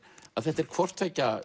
þetta er hvort tveggja